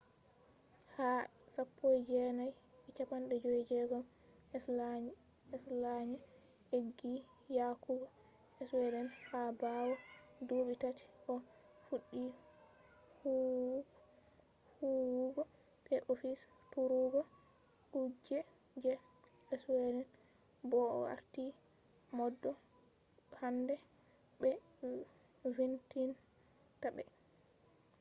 ha 1956 slania eggi yahugo sweden ha bawo duubi taati o fuddi huwugo be office turugo kuje je sweden bo o warti maudo hander be vindinta be